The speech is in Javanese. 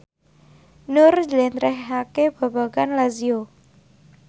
Nur njlentrehake babagan Lazio